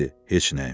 Heç nəyim.